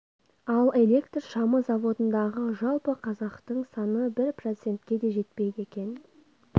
ал электр шамы заводындағы жалпы қазақтың саны бір процентке де жетпейді екен